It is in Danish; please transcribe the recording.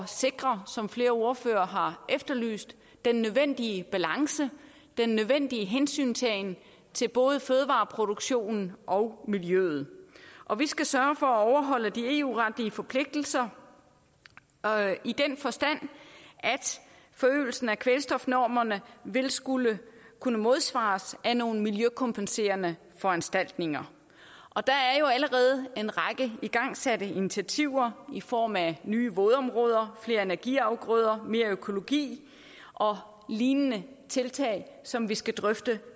sikre som flere ordførere har efterlyst den nødvendige balance den nødvendige hensyntagen til både fødevareproduktionen og miljøet og vi skal sørge for at overholde de eu retlige forpligtelser i den forstand at forøgelsen af kvælstofnormerne vil skulle kunne modsvares af nogle miljøkompenserende foranstaltninger og der er jo allerede en række igangsatte initiativer i form af nye vådområder flere energiafgrøder mere økologi og lignende tiltag som vi skal drøfte